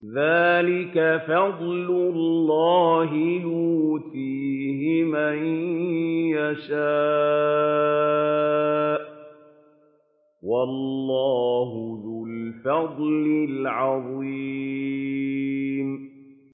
ذَٰلِكَ فَضْلُ اللَّهِ يُؤْتِيهِ مَن يَشَاءُ ۚ وَاللَّهُ ذُو الْفَضْلِ الْعَظِيمِ